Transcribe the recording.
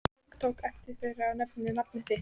Tiltók efni þeirra og nefndi nafn þitt.